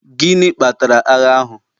gịnị kpatara agha ahụ?